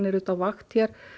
á vakt